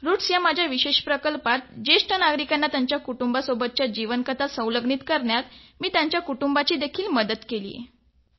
roots या माझ्या विशेष प्रकल्पात ज्येष्ठ नागरिकांना त्यांच्या कुटुंबासोबतच्या जीवन कथा लिखित स्वरूपात तयार करण्यात मी त्यांची मदत केली आहे